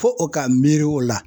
Fo o ka miiri o la